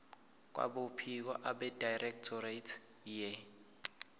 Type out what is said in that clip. kwabophiko abedirectorate ye